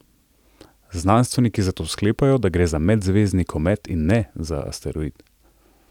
Znanstveniki zato sklepajo, da gre za medzvezdni komet, in ne za asteroid.